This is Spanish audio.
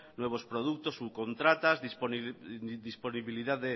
nuevos productos subcontratas disponibilidad de